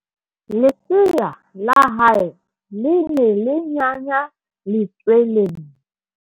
lesea la hae le ne le nyanya letsweleng